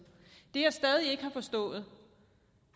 det jeg stadig ikke har forstået